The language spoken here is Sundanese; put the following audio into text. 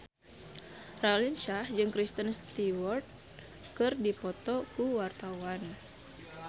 Raline Shah jeung Kristen Stewart keur dipoto ku wartawan